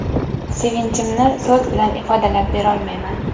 Sevinchimni so‘z bilan ifodalab berolmayman.